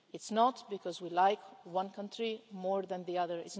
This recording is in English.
It's not because we like one country more than another